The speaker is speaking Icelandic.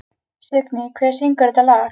Signý, hver syngur þetta lag?